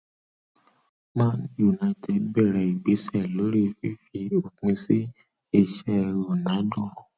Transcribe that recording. man u bẹrẹ ìgbésẹ lórí fífi òpin sí iṣẹ ronaldo